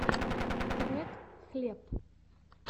трек хлеб